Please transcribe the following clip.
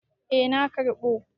Eh na karɓo.